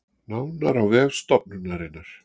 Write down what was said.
Nánar á vef stofnunarinnar